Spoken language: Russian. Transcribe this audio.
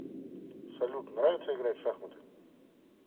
салют нравится играть в шахматы